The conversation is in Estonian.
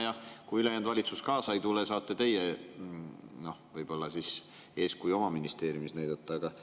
Ja kui ülejäänud valitsus kaasa ei tule, siis võib-olla saate teie oma ministeeriumis eeskuju näidata.